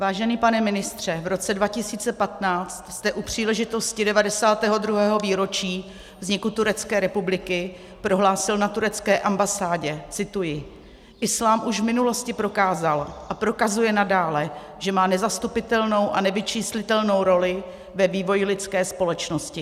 Vážený pane ministře, v roce 2015 jste u příležitosti 92. výročí vzniku Turecké republiky prohlásil na turecké ambasádě - cituji: "Islám už v minulosti prokázal a prokazuje nadále, že má nezastupitelnou a nevyčíslitelnou roli ve vývoji lidské společnosti."